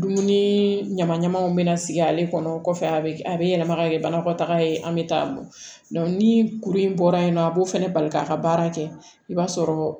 Dumuni ɲama ɲamanw bɛ na sigi ale kɔnɔ kɔfɛ a bɛ a bɛ yɛlɛma ka kɛ banakɔtaga ye an bɛ taa don ni kuru in bɔra yen nɔ a b'o fana bali k'a ka baara kɛ i b'a sɔrɔ